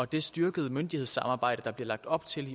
det styrkede myndighedssamarbejde der bliver lagt op til